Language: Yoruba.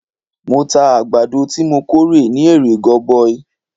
Mo ta àgbàdo tí mo kórè ní èrè goboi.